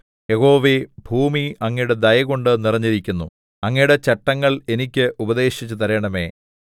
യഹോവേ ഭൂമി അങ്ങയുടെ ദയകൊണ്ടു നിറഞ്ഞിരിക്കുന്നു അങ്ങയുടെ ചട്ടങ്ങൾ എനിക്ക് ഉപദേശിച്ചു തരണമേ തേത്ത്